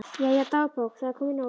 Jæja, dagbók, það er komin nótt.